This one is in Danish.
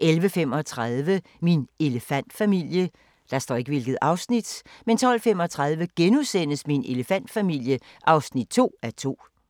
(3:109) 11:35: Min elefantfamilie 12:35: Min elefantfamilie (2:2)*